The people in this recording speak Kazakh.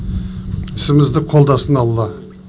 ісімізді қолдасын алла